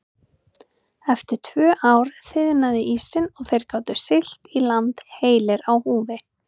En eftir tvö ár þiðnaði ísinn og þeir gátu siglt í land heilir á húfi.